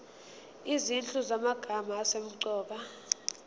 izinhlu zamagama asemqoka